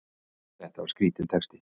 Þetta var skrítinn texti!